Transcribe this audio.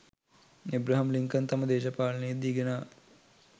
Abraham Lincoln තම දේශපාලනයේදී ගෙනා